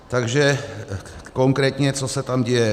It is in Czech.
Takže konkrétně co se tam děje.